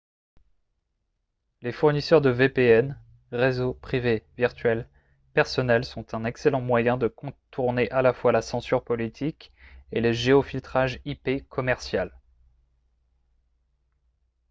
les fournisseurs de vpn réseau privé virtuel personnels sont un excellent moyen de contourner à la fois la censure politique et le géofiltrage ip commercial